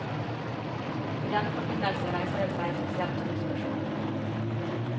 I denne forbindelse reiser det seg spesielt to spørsmål.